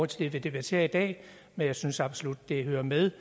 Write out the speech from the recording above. til det vi debatterer i dag men jeg synes absolut at det hører med